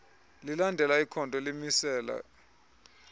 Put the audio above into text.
lilandela ikhondo elimisela